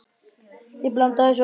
Ég blanda þessu öllu saman.